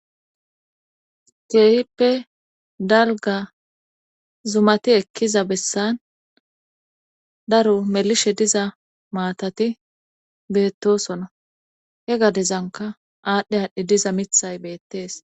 Keehippe dalga zumati ekkiza bessan daro melishe diza maatati beettosona he gadezanka aadhdhe haadhdhi diza mithay beettees.